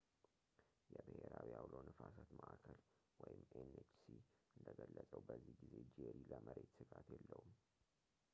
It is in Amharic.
የብሔራዊ አውሎ ነፋሳት ማዕከል nhc እንደገለጸው በዚህ ጊዜ ጄሪ ለመሬት ሥጋት የለውም